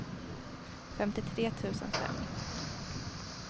femtiotre tusen fem